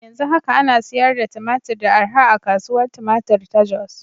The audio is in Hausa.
Yanzu haka ana sayar da tumatur da arha a Kasuwar Tumatir ta Jos.